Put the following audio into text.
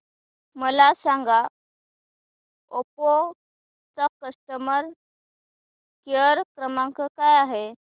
मला सांगा ओप्पो चा कस्टमर केअर क्रमांक काय आहे